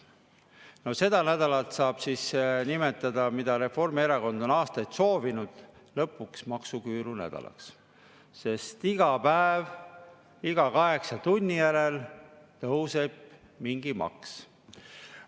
No seda nädalat saab siis lõpuks nimetada, mida Reformierakond on aastaid soovinud, maksuküüru nädalaks, sest iga päev iga kaheksa tunni järel tõuseb mingi maks.